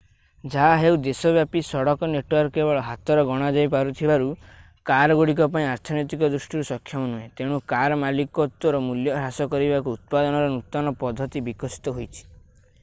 ଯାହାହେଉ ଦେଶବ୍ୟାପୀ ସଡକ ନେଟୱର୍କ କେବଳ ହାତରେ ଗଣାଯାଇ ପାରୁଥିବା କାର ଗୁଡ଼ିକ ପାଇଁ ଅର୍ଥନୈତିକ ଦୃଷ୍ଟିରୁ ସକ୍ଷମ ନୁହେଁ ତେଣୁ କାର ମାଲିକତ୍ତ୍ଵର ମୂଲ୍ୟ ହ୍ରାସ କରିବାକୁ ଉତ୍ପାଦନର ନୂତନ ପଦ୍ଧତି ବିକଶିତ ହୋଇଛି